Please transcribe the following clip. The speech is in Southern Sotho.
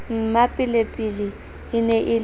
mmapelepele e ne e le